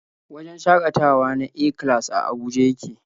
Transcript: Wajen shakatawa na A-class a Abuja yake.